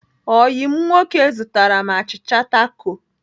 Oyi m nwoke zụtara m achịcha takol.